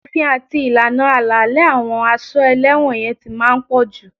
Òfin àti ìlànà àlàálẹ̀ àwọn a ṣọ́ ẹlẹ́wọ̀n yẹn ti máa ń pọ̀jù